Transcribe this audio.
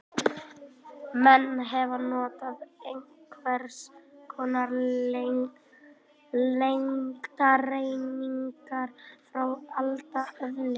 Menn hafa notað einhvers konar lengdareiningar frá alda öðli.